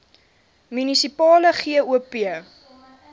munisipale gop